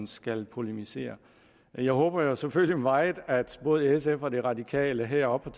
skal polemisere jeg håber selvfølgelig meget at både sf og de radikale heroppe